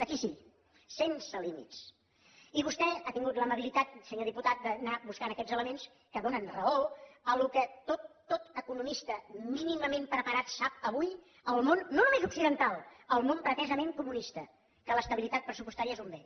aquí sí sense límits i vostè ha tingut l’amabilitat senyor diputat d’anar buscant aquests elements que donen raó a allò que tot economista mínimament preparat sap avui al món no només occidental al món pretesament comunista que l’estabilitat pressupostària és un bé